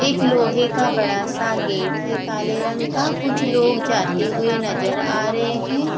एक लोहे का बड़ा सा गेट है काले रंग का कुछ लोग जाते हुए नजर आ रहे है।